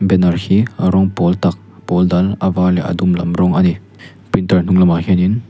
banner hi a rawng pawl tak pawl dal a var leh a dum lam rawng a ni printer hnung lamah hianin--